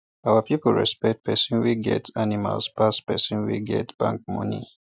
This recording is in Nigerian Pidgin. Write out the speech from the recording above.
our people respect um person wey get um animals pass person wey get um bank money